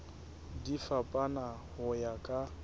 di fapana ho ya ka